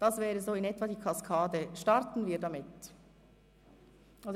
Das wäre in etwa die Abstimmungskaskade.